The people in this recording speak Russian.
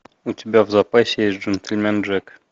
у тебя в запасе есть джентльмен джек